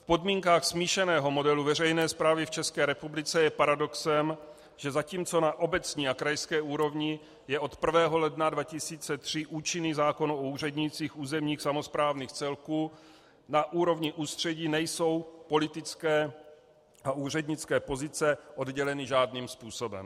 V podmínkách smíšeného modelu veřejné správy v České republice je paradoxem, že zatímco na obecní a krajské úrovni je od 1. ledna 2003 účinný zákon o úřednících územních samosprávných celků, na úrovni ústředí nejsou politické a úřednické pozice odděleny žádným způsobem.